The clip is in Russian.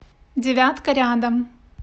девятка рядом